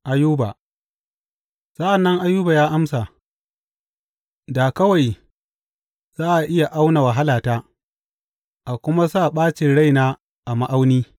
Ayuba Sa’an nan Ayuba ya amsa, Da kawai za a iya auna wahalata a kuma sa ɓacin raina a ma’auni!